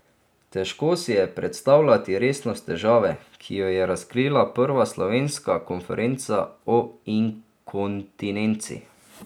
Težko si je predstavljati resnost težave, ki jo je razkrila prva slovenska konferenca o inkontinenci.